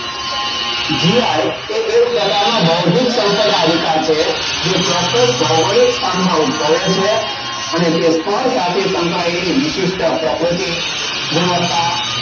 Gi એ એક પ્રકારનો બૌદ્ધિક સંપદા અધિકાર છે. જે ચોક્કસ ભૌગોલિક સ્થાનમાં ઉદભવે છે. અને તે સ્થળ સાથે સંકળાયેલી વિશિષ્ટ પ્રકૃતિ ગુણવત્તા